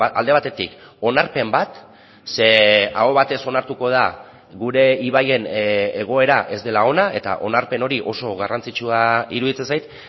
alde batetik onarpen bat ze aho batez onartuko da gure ibaien egoera ez dela ona eta onarpen hori oso garrantzitsua iruditzen zait